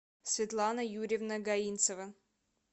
светлана юрьевна гаинцева